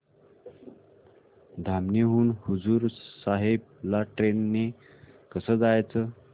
धामणी हून हुजूर साहेब ला ट्रेन ने कसं जायचं